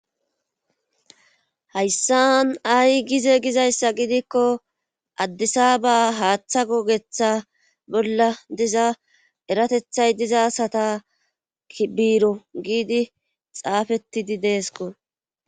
hayssan ay gize gizayssa gidikko addisa ba haaththa gogetha bolla diza eratethay diza sata biiro giidi xaafettidi deesko